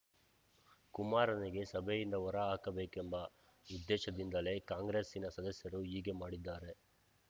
ಕುಮಾರನಿಗೆ ಸಭೆಯಿಂದ ಹೊರ ಹಾಕಬೇಕೆಂಬ ಉದ್ದೇಶದಿಂದಲೇ ಕಾಂಗ್ರೆಸ್ಸಿನ ಸದಸ್ಯರು ಹೀಗೆ ಮಾಡಿದ್ದಾರೆ